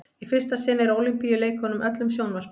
í fyrsta sinn er ólympíuleikunum öllum sjónvarpað